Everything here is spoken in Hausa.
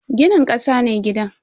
Ginin kasa ne gidan.